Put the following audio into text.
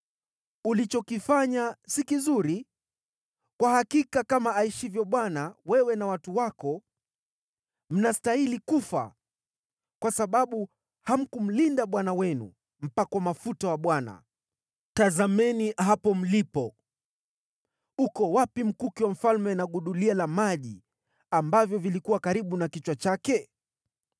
Ulichokifanya si kizuri. Kwa hakika kama aishivyo Bwana , wewe na watu wako mnastahili kufa, kwa sababu hamkumlinda bwana wenu, mpakwa mafuta wa Bwana . Tazameni hapo mlipo. Uko wapi mkuki wa mfalme na gudulia la maji ambavyo vilikuwa karibu na kichwa chake?”